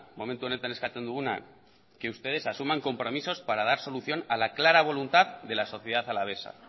momentu honetan eskatzen duguna que ustedes asuman compromisos para dar solución a la clara voluntad de la sociedad alavesa